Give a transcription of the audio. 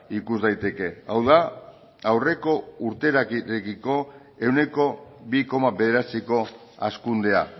ikus daiteke hau da aurreko urtearekiko ehuneko bi koma bederatziko hazkundea